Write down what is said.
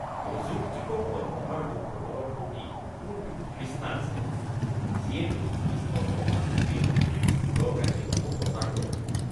অযুক্তিকৰ কল্পনাৰ লোকসকলৰ প্ৰতি মোৰ বিতৃষ্ণা আছে যিয়ে বস্তুনিষ্ঠ প্ৰমাণ অবিহনে ভূতৰ কাহিনীসমূহ প্ৰচাৰ কৰে।